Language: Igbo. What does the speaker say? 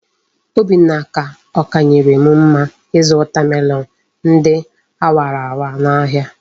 Obinna ka okanyerem mma izu watermelon ndi awara awa na ahia